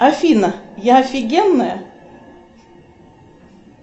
афина я офигенная